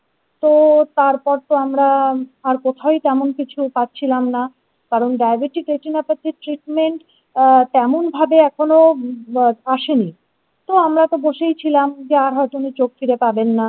তো তারপর তো আমরা আর কোথাও তেমন কিছু পাচ্ছিলাম না কারণ diabetic retinopathy এর treatment আহ তেমনভাবে এখনো আসেনি তো আমরা তো বসেই ছিলাম যে আর হয়তো উনি চোখ ফিরে পাবেন না।